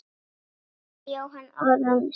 Karl Jóhann Ormsson